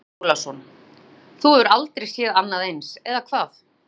Andri Ólafsson: Þú hefur aldrei séð annað eins, eða hvað?